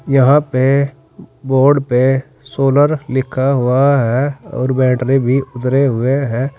यहां पे बोर्ड पे सोलर लिखा हुआ है और बैटरी भी उतरे हुए हैं।